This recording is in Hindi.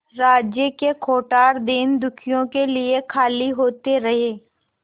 राज्य के कोठार दीनदुखियों के लिए खाली होते रहे